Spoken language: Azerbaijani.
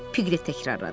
Piqlet təkrarladı.